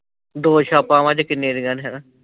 ਦੋ ਛਾਪਾ ਵੰਜ ਕਿੰਨੇ ਦੀਆ ਨੇ ਹੈਨਾ